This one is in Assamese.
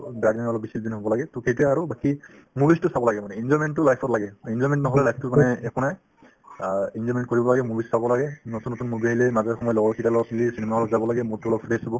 হ'ব লাগে to সেইটোয়ে আৰু বাকি movies তো চাব লাগে মানে enjoyment তো life ত লাগে কাৰণ enjoyment নহ'লে life তোৰ মানে একো নাই অ enjoyment কৰিব লাগে movies চাব লাগে নতুন নতুন movie আহিলে মাজে সময়ে লগৰ কেইটাৰ লগত cinema hall ত যাব লাগে মনতো অলপ fresh হ'ব